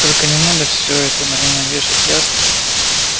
только не надо все это на меня вешать ясно